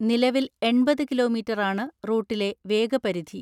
നിലവിൽ എൺപത് കിലോമീറ്ററാണ് റൂട്ടിലെ വേഗപരിധി.